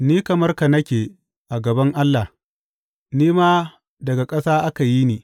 Ni kamar ka nake a gaban Allah; ni ma daga ƙasa aka yi ni.